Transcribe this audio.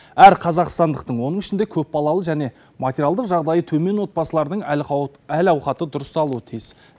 әр қазақстандықтың оның ішінде көпбалалы және материалдық жағдайы төмен отбасылардың әл ауқаты дұрысталуы тиіс